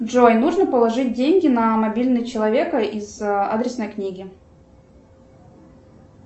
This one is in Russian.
джой нужно положить деньги на мобильный человека из адресной книги